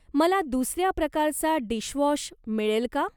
मला दुसऱ्या प्रकारचा डिशवॉश मिळेल का?